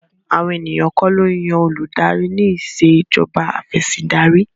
Àwọn ènìyàn kò lo yan oludari ní Ìṣèjọba Afẹ̀sìndarí